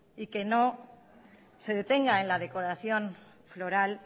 y que no se detenga en la decoración floral